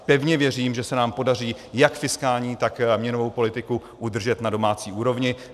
Pevně věřím, že se nám podaří jak fiskální, tak měnovou politiku, udržet na domácí úrovni.